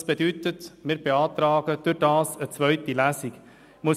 Das bedeutet, dass wir dadurch eine zweite Lesung beantragen.